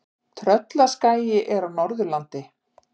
Tröllaskagi er á Norðurlandi.